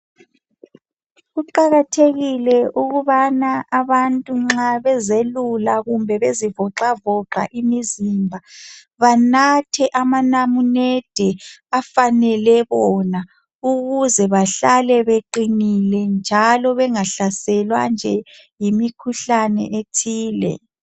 Kuqakathekile ukubana abantu nxa bezelula kumbe bezivoxavoxa imizimba, banathe amanamunede afanele bona ukuze bahlale beqinile njalo bengahlaselwa nje yimikhuhlane ethile.